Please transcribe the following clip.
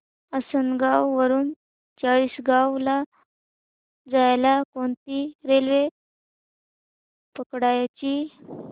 आसनगाव वरून चाळीसगाव ला जायला कोणती रेल्वे पकडायची